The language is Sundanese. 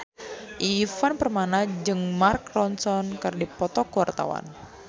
Ivan Permana jeung Mark Ronson keur dipoto ku wartawan